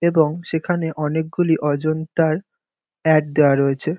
এবং সেখানে অনেকগুলি অজন্তার অ্যাড দেওয়া রয়েছে।